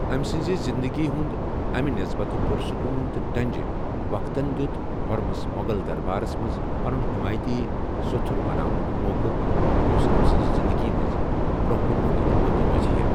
أمہِ سٕنٛزِ زِنٛدگی ہِنٛدِ أمہِ نسبَتن پُرسُکوٗن تہٕ ڈنٛجہِ وقتن دیُت خُرمس مغل دربارس منٛز پنُن حیمایتی سو٘تھٗر بناونُک موقعہٕ، یُس أمہِ سٕنٛزِ زِنٛدگی منٛز برونہ كٗن فٲیدٕ منٛد روزِہے ۔